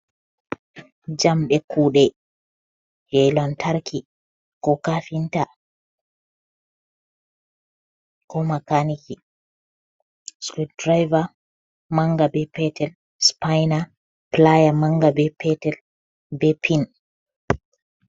Jamɗe kuɗe je lantarki, ko kafinta, ko makaniki. sukul diriva manga be petel, supaina pilaya manga be petel be pin.